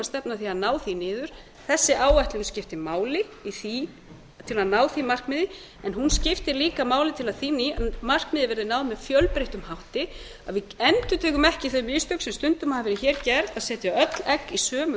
stefna að því að ná því niður þessi áætlun skiptir máli í því til að ná því markmiði en hún skiptir líka máli til að því markmiði verði náð með fjölbreyttum hætti að við endurtökum ekki þau mistök sem stundum hafa verið gerð að setja öll egg í sömu